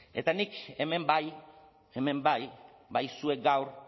eta nik hemen bai hemen bai bai zuek gaur